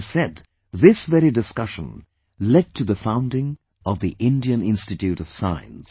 It is said... this very discussion led to the founding of the Indian Institute of Science